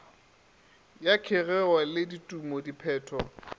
ya kgegeo le dithumo diphetho